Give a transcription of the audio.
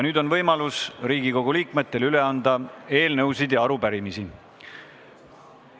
Nüüd on Riigikogu liikmetel võimalus üle anda eelnõusid ja arupärimisi.